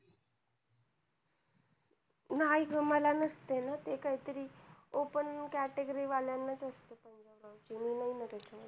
नाही ग मला नसतंय ना ते. काहीतरी open category वाल्यांनाच असतंय बघ. मी नाही भरत मग.